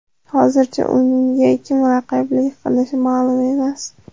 Hozircha unga kim raqiblik qilishi ma’lum emas.